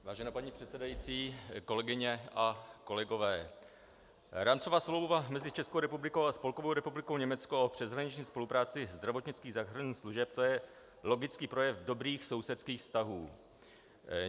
Vážená paní předsedající, kolegyně a kolegové, Rámcová smlouva mezi Českou republikou a Spolkovou republikou Německo o přeshraniční spolupráci zdravotnických záchranných služeb, to je logický projev dobrých sousedských vztahů.